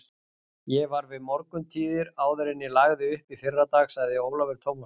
Ég var við morguntíðir áður en ég lagði upp í fyrradag, sagði Ólafur Tómasson.